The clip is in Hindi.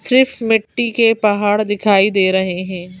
सिर्फ मिट्टी के पहाड़ दिखाई दे रहे हैं।